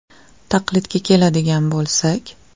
Taqlidga keladigan bo‘lsak.